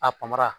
A panpara